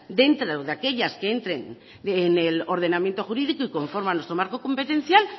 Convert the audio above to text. dentro de aquellas que entren en el ordenamiento jurídico y conforme a nuestro marco competencial